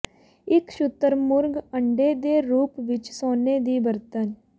ਇੱਕ ਸ਼ੁਤਰਮੁਰਗ ਅੰਡੇ ਦੇ ਰੂਪ ਵਿੱਚ ਸੋਨੇ ਦੀ ਬਰਤਨ